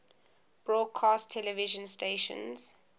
broadcast television stations